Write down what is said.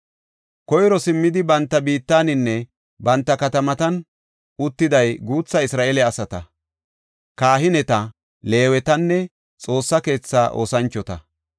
Koyro simmidi banta biittaninne banta katamatan uttiday guutha Isra7eele asata, kahineta, Leewetanne Xoossa keetha oosanchota.